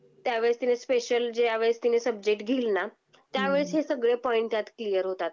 त्यावेळेस तिने स्पेशल ज्यावेलेस तिने सब्जेक्ट घेईल ना, त्यावेळेस हे सगळे पॉइंट त्यात क्लिअर होतात.